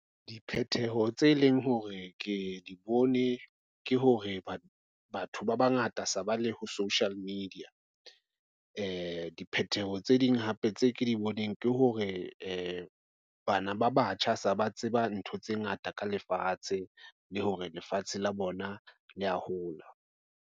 Diphetheho tse leng hore ke di bone ke hore batho ba bangata se ba le ho social media diphethoho tse ding hape tse ke di boneng ke hore bana ba batjha se ba tseba ntho tse ngata ka lefatshe le hore lefatshe la bona le a hola.